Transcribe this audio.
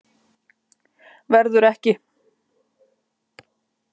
Verður ekki.